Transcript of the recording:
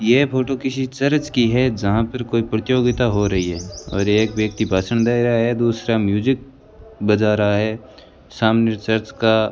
यह फोटो किसी चर्च की है जहां पर कोई प्रतियोगिता हो रही है और एक व्यक्ति भाषण दे रहा है दूसरा म्यूजिक बजा रहा है सामने चर्च का --